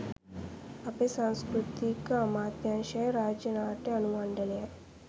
අපේ සංස්කෘතික අමාත්‍යාංශයයි රාජ්‍ය නාට්‍ය අනු මණ්ඩලයයි